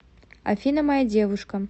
афина моя девушка